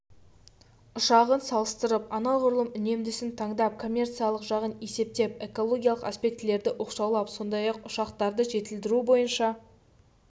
ұшығын салыстырып анағұрлым үнемдісін таңдап коммерциялық жағын есептеп экологиялық аспектілерді оқшаулап сондай-ақ ұшақтарды жетілдіру бойынша